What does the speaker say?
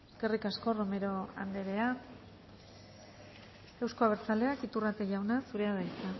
eskerrik asko romero andrea euzko abertzaleak iturrate jauna zurea da hitza